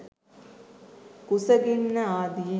කුසගින්න ආදියෙන්